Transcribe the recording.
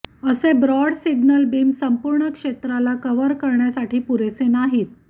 असे broad signal beam संपूर्ण क्षेत्राला कव्हर करण्यासाठी पुरेसे नाहीत